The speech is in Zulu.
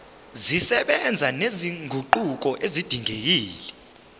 zisebenza nezinguquko ezidingekile